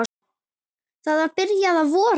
Það var byrjað að vora.